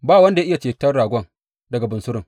Ba wanda ya iya ceton ragon daga bunsurun.